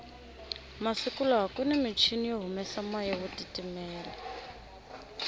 masiku lawakunimichini yo humesa moya wo titimela